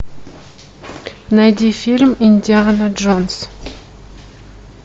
найди фильм индиана джонс